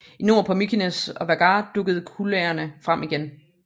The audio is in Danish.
I nord på Mykines og Vágar dukker kullagene frem igen